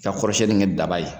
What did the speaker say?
Ta kɔrɔsɛni kɛ daba ye